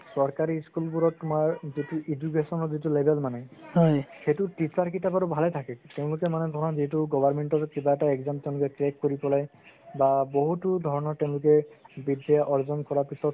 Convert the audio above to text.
চৰকাৰি school বোৰত তুমাৰ যিতো education ৰ level মানে সেইটো বাৰু ভালে থাকে তেওঁলোকে মানে ধৰা যিতো government ৰ কিবা এটা exam crack কৰি পেলাই বা বহুতো ধৰণৰ তেওঁলোকে বিদ্দ্যা অৰ্জন কৰাৰ পিছত